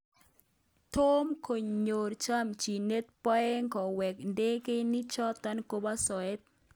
Tom konyor chamchinyet Boeng Koweek ndegeinik choto koba soet